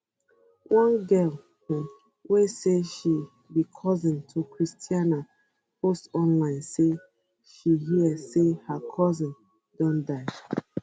one girl um wey say she becousin to christiana post onlinesay she hear say her cousin don die um